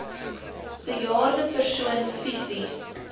bejaarde persoon fisies